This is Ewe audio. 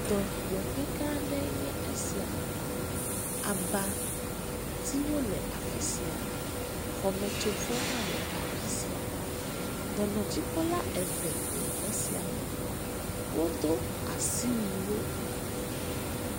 Dɔyɔƒe gã ɖe nye esia, abatiwo le afisia, xɔme tsovɔ hã le afisia, dɔnɔ dzikpɔla eve le xɔsia me, wo do asiwui wo.